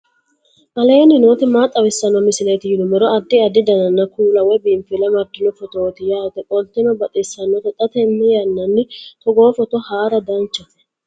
aleenni nooti maa xawisanno misileeti yinummoro addi addi dananna kuula woy biinfille amaddino footooti yaate qoltenno baxissannote xa tenne yannanni togoo footo haara danchate